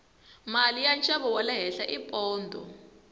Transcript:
mali ya nxavo wale henhla i pondho